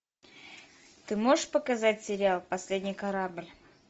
ты можешь показать сериал последний корабль